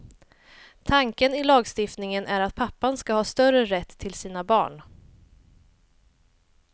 Tanken i lagstiftningen är att pappan ska ha större rätt till sina barn.